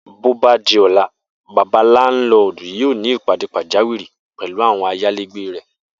Bóbá di ló̩la, bàbá láńlo̩ò̩dù yóò ní ìpàdé pàjáwìrì pè̩lú àwo̩n ayálégbé rè̩